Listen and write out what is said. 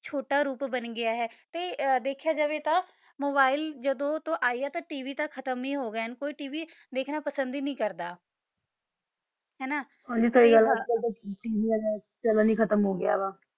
ਛੋਟਾ ਰੂਪ ਬਣ ਗਯਾ ਆ ਤਾ ਦਖਿਆ ਜਾਵਾ ਤਾ ਮੋਬਿਲੇ ਜਦੋ ਤੋ ਯਾ ਆ ਤਾ ਤਵ ਤਾ ਖਤਮ ਹੀ ਹੋ ਗਯਾ ਨਾ ਤਾ ਤਵ ਦਖਣਾ ਪਸੰਦ ਹੀ ਨਹੀ ਕਰਦਾ ਨਾ ਹ ਨਾ ਹਨ ਗੀ ਸੀ ਗਲ ਆ ਉਨ ਤਾ ਹੁਣ ਤਾ ਚੰਨੇਲ ਹੀ ਖਤਮ ਹੋ ਗਯਾ ਵਾ